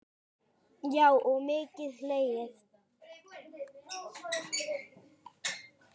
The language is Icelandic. Já og mikið hlegið.